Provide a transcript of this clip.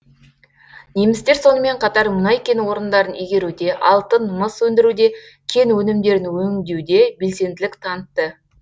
немістер сонымен қатар мұнай кен орындарын игеруде алтын мыс өндіруде кен өнімдерін өндеуде белсенділік танытты